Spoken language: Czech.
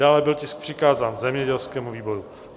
Dále byl tisk přikázán zemědělskému výboru.